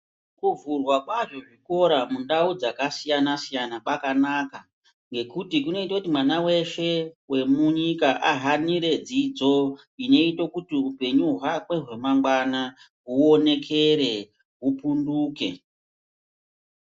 Kuvhurwa kwazvo zvikora mundau dzakasiyana siyana kwakanaka ngekuti kunoita kuti mwana weshe wemunyika ahanire dzidzo inoite kuti upenyu hwake hwemangwana huonekere hupunduke.